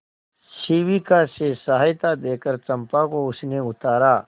शिविका से सहायता देकर चंपा को उसने उतारा